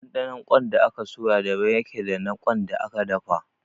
Ɗanɗanon ƙwan da aka soya daban ya ke da na ƙwan da aka dafa